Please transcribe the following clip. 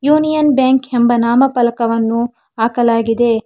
Union Bank ಹೆಂಬ ನಾಮ ಪಲಕವನ್ನು ಆಕಲಾಗಿದೆ.